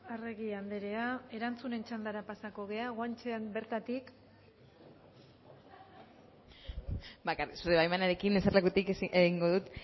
arregi andrea erantzunen txandara pasako gara guanche andrea bertatik bai zure baimenarekin eserlekutik egingo dut